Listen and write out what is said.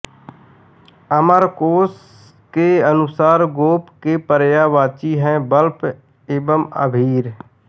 अमरकोश के अनुसार गोप के पर्यायवाची है बल्लव एवं अभीर